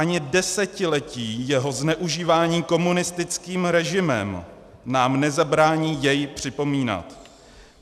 Ani desetiletí jeho zneužívání komunistickým režimem nám nezabrání jej připomínat.